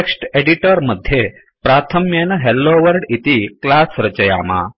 text editor मध्ये प्राथम्येन hello world इति क्लास रचयाम